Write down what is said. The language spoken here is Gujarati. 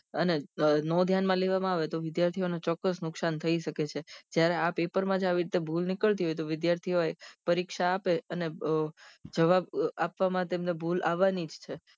અને નોં ધ્યાન માં લેવામાં આવે તો ચોક્કસ નુકશાન થઇ શકે છે જ્યારે આ પેપર માં આવી રીતે ભૂલ નીકળતી હોય તો વિદ્યાર્થી હોય પરીક્ષા આપે અને જવાબ આપવા માટે એમને ભૂલ આવાની જ છે